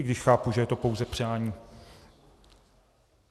I když chápu, že je to pouze přání.